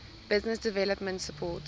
business development support